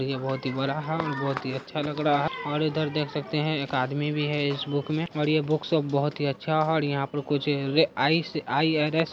ये बहुत ही बड़ा है और बहुत ही अच्छा लग रहा है और इधर देख सकते है एक आदमी भी है इस बुक मे और ये बुक शॉप बहुत ही अच्छा है और यहाँ पे कुछ आई आई आर.एस. --